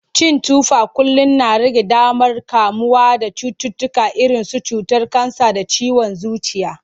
Cin tufa kullum na rage damar kamuwa da cututtuka irinsu cutar kansa da ciwon zuciya.